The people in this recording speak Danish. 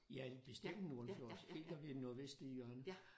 Ja bestemt nordenfjords helt oppe i det nordvestlige hjørne